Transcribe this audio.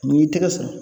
N'i y'i tɛgɛ sɔrɔ